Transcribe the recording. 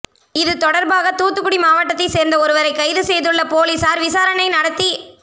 இதுதொடர்பாக தூத்துக்குடி மாவட்டத்தை சேர்ந்த ஒருவரை கைது செய்துள்ள போலீசார் விசாரணை நடத்தி